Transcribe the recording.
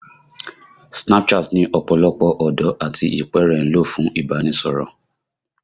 Snapchat ni ọ̀pọ̀lọpọ̀ ọ̀dọ́ àti ìpẹ́ẹ̀rẹ̀ ń lò fún ìbánisọ̀rọ̀